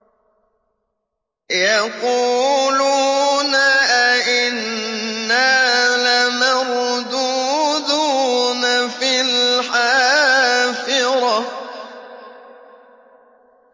يَقُولُونَ أَإِنَّا لَمَرْدُودُونَ فِي الْحَافِرَةِ